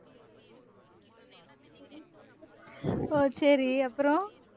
ஓ சரி அப்புறம்